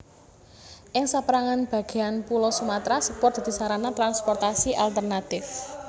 Ing sapérangan bagéan pulo Sumatra sepur dadi sarana transportasi alternatif